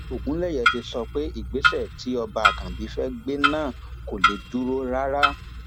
ogunléyé ti sọ pé ìgbésẹ tí ọba àkànbí fẹẹ gbé náà kò lè dúró rárá